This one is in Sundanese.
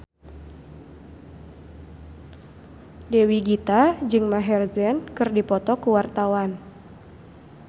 Dewi Gita jeung Maher Zein keur dipoto ku wartawan